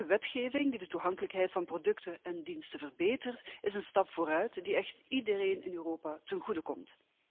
Elke wetgeving die de toegankelijkheid van producten en diensten verbetert is een stap vooruit die echt iedereen in Europa ten goede komt.